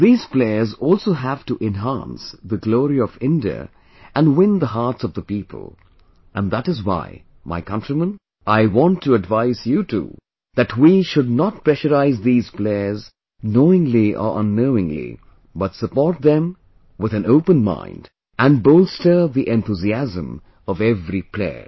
These players also have to enhance the glory of India and win the hearts of the people and that is why my countrymen I want to advise you too, that we should not pressurize these players knowingly or unknowingly, but support them with an open mind and bolster the enthusiasm of every player